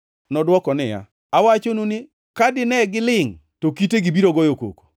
Nodwoko niya, “Awachonu ni, kata ka dine gilingʼ, to kitegi biro goyo koko.”